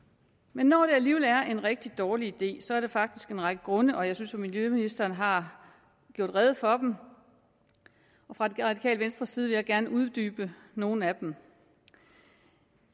men når det alligevel er en rigtig dårlig idé så er der faktisk en række grunde og jeg synes jo at miljøministeren har gjort rede for dem fra det radikale venstres side vil jeg gerne uddybe nogle af dem